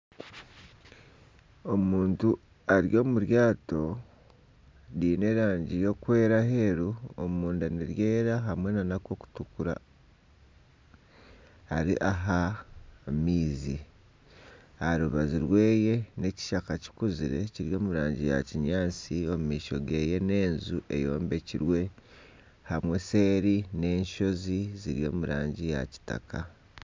Omuntu ari omu ryaato, riine erangi erikwera aheeru ,omunda niryera hamwe nana akokutukura ari aha maizi aha rubaju rweye n'ekishaka kikuzire kiri omu rangi ya kinyatsi, omu maisho geye n'enju eyombekirwe hamwe nseeri n'ensozi ziri omu rangi ya kitaka .